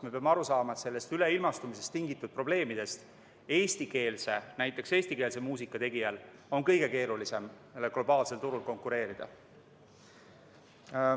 Me peame aru saama, et üleilmastumisest tingitud probleemide puhul on näiteks eestikeelse muusika tegijail väga keeruline globaalsel turul konkureerida.